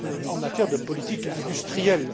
en matière de politique industrielle.